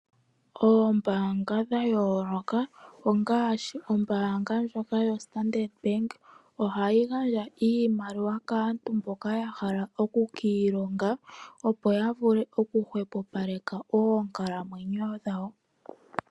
Oombaanga dha yooloka ngaashi ombaanga yo Standard Back ohayi gandja iimaliwa kaantu mboka yahala oku kiilonga opo yavule oku hwepopaleka oonkalamwenyo shawo.